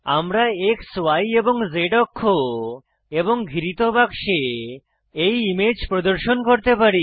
আমরা X Y এবং Z অক্ষ এবং ঘিরিত বাক্সে এই ইমেজ প্রদর্শন করতে পারি